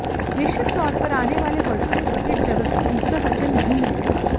निश्चित तौर पर आने वाले वर्षों में क्रिकेट जगत को दूसरा सचिन नहीं मिलेगा